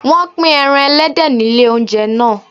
Wọn pín ẹran ẹlẹ́dẹ̀ nílé oúnjẹ naa